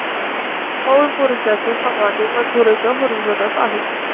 थोर पुरुषांची समाधी मंदिराच्या परिसरात आहे.